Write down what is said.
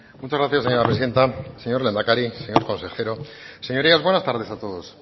muchas gracias señora presidenta señor lehendakari señor consejero señorías buenas tardes a todos